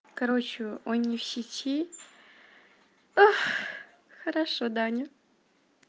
короче он не в сети хорошо даня